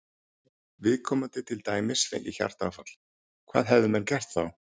Viðkomandi til dæmis fengi hjartaáfall, hvað hefðu menn gert þá?